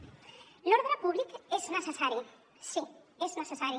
l’ordre públic és necessari sí és necessari